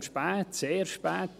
dieser kommt spät, sehr spät.